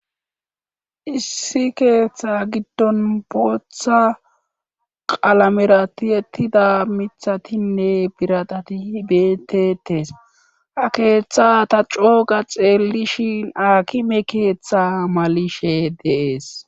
Issi keeththa giddon bootha qalamerati ettida mithatinne biradatihibetetees ha keeththa ta cooga xeellishin akime keeththa malishe deees